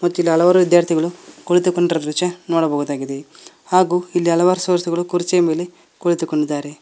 ಕಿಲ್ಲ ಹಲವಾರು ವಿದ್ಯಾರ್ಥಿಗಳು ಕುಳಿತುಕೊಂಡಿರ ದೃಶ್ಯ ನೋಡಬಹುದಾಗಿದೆ ಹಾಗು ಇಲ್ಲಿ ಹಲವಾರು ಕುರ್ಚಿಯ ಮೇಲೆ ಕುಳಿತುಕೊಂಡಿದಾರೆ.